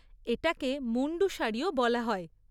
এটাকে মুন্ডু শাড়িও বলা হয়।